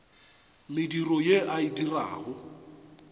mediro ye a e dirago